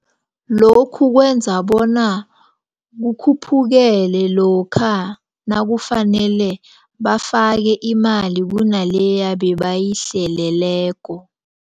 Lokhu kwenza bona kukhuphukele lokha nakufanele bafake imali kunaleya ebebayihleleleko.